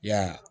Ya